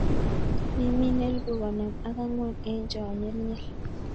Imin elpu konom ak angw'an en chonyelnyel.